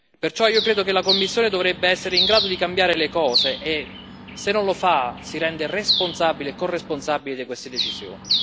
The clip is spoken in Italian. Perciò io credo che la Commissione dovrebbe essere in grado di cambiare le cose e, se non lo fa, si rende responsabile e corresponsabile di queste decisioni.